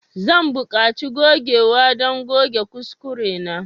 Zan buƙaci gogewa don goge kuskurena.